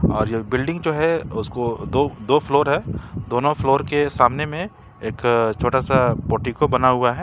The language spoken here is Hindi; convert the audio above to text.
और ये बिल्डिंग जो है उसको दो दो फ्लोर है दोनों फ्लोर के सामने में एक छोटा सा पोर्टिको बना हुआ है।